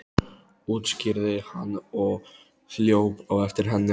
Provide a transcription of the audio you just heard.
útskýrði hann og hljóp á eftir henni.